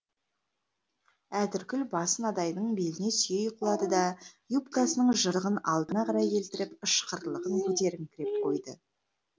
әтіркүл басын адайдың беліне сүйей құлады да юбкасының жырығын алдына қарай келтіріп ышқырлығын көтеріңкіреп қойды